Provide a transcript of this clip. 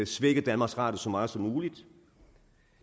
svække danmarks radio så meget som muligt